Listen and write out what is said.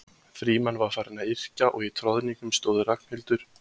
Frímann var farinn að yrkja og í troðningnum stóðu Ragnhildur og